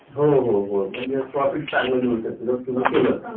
हो हो हो ते Profit चांगल मिळु शकत जर तुम्ही केल तर